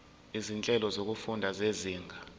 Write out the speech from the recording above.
izinhlelo zokufunda zezinga